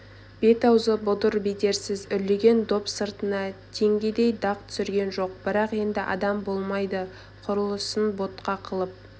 бет-аузы бұдыр-бедерсіз үрлеген доп сыртына теңгедей дақ түсірген жоқ бірақ енді адам болмайды құрылысын ботқа қылып